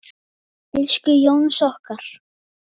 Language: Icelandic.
Elsku Jónsi okkar.